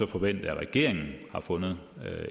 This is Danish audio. forvente at regeringen har fundet